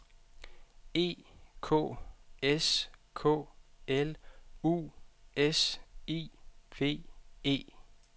E K S K L U S I V E